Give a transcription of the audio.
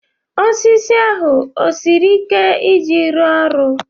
Osisi ahụ esiri ike iji rụọ ọrụ?